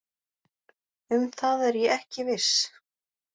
Um það er ég ekki viss